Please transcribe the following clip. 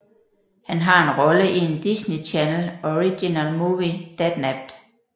Han har en rolle i en Disney Channel Original Movie Dadnapped